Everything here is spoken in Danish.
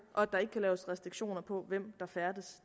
og at der ikke kan laves restriktioner over hvem der færdes